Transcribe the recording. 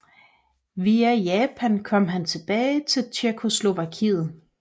Via Japan kom han tilbage til Tjekkoslovakiet